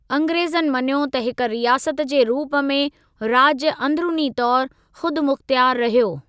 अंग्रेज़नि मञियो त हिक रियासत जे रूप में राज्य अंदरूनी तौरु ख़ुदिमुख्तियार रहियो।